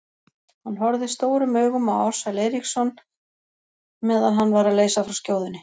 Hann horfði stórum augum á Ársæl Eiríksson meðan hann var að leysa frá skjóðunni.